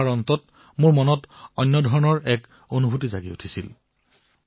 এয়া পঢ়াৰ পিছত মই এক ভিন্ন অনুভূতি লাভ কৰিলো